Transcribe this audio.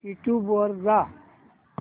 YouTube वर जा